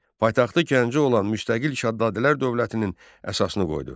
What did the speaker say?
Paytaxtı Gəncə olan müstəqil Şəddadilər dövlətinin əsasını qoydu.